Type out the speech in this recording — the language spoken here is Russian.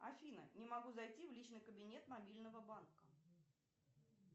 афина не могу зайти в личный кабинет мобильного банка